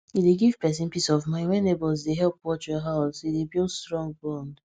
e dey give person peace of mind when neighbours dey help watch your house e dey build strong bond